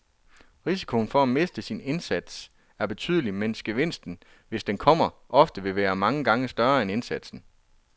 Risikoen for at miste sin indsats er betydelig, mens gevinsten, hvis den kommer, ofte vil være mange gange større end indsatsen.